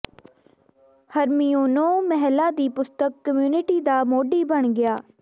ਹਰਮਿਊਨੋ ਮਹਿਲਾ ਦੀ ਪੁਸਤਕ ਕਮਿਊਨਿਟੀ ਦਾ ਮੋਢੀ ਬਣ ਗਿਆ